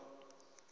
a i laula u fa